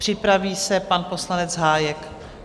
Připraví se pan poslanec Hájek.